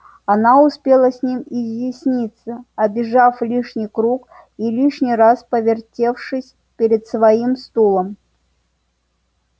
она успела с ним изъясниться обежав лишний круг и лишний раз повертевшись перед своим стулом